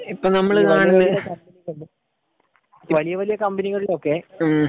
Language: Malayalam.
ഇപ്പൊ നമ്മള് കാണുന്നത്ഹ്മ്